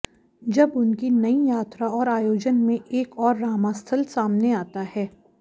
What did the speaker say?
जब उनकी नयी यात्रा और आयोजन में एक और रामास्थल सामने आता है